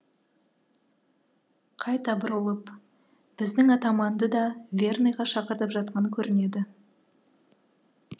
қайта бұрылып біздің атаманды да верныйға шақыртып жатқан көрінеді